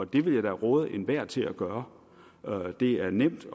det vil jeg da råde enhver til at gøre det er nemt